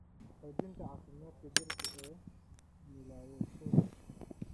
xoojinta caafimaadka jireed ee milkiilayaashooda.